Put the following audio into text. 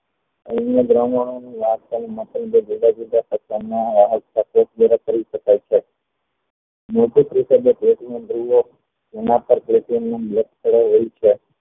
જુદ્ધ જુદ્ધ પ્રકારના એના પર platinum black ચાડાંયવું હોય છે